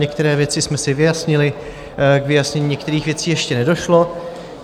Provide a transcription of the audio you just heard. Některé věci jsme si vyjasnili, k vyjasnění některých věcí ještě nedošlo.